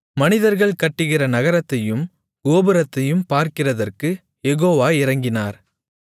மனிதர்கள் கட்டுகிற நகரத்தையும் கோபுரத்தையும் பார்க்கிறதற்குக் யெகோவா இறங்கினார்